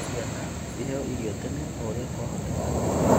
Ciana ciheo irio tene o ũrĩa kwahoteka